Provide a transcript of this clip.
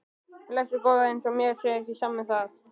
Blessuð góða. eins og mér sé ekki sama um það!